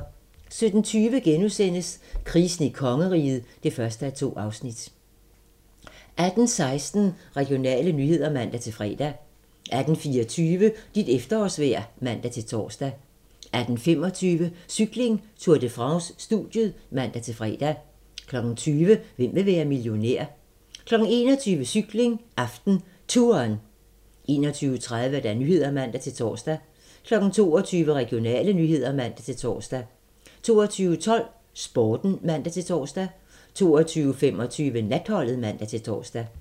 17:20: Krisen i kongeriget (1:2)* 18:16: Regionale nyheder (man-fre) 18:24: Dit efterårsvejr (man-tor) 18:25: Cykling: Tour de France - studiet (man-fre) 20:00: Hvem vil være millionær? 21:00: Cykling: AftenTouren 21:30: Nyhederne (man-tor) 22:00: Regionale nyheder (man-tor) 22:12: Sporten (man-tor) 22:25: Natholdet (man-tor)